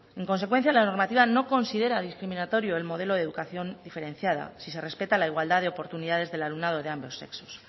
en consecuencia la normativa no considera discriminatorio el modelo de educación diferenciada si se respeta la igualdad de oportunidades del alumnado de ambos sexos